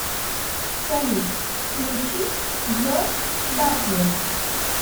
салют включи джош батлер